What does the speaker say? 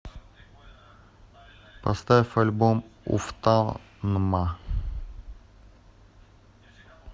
поставь альбом уфтанма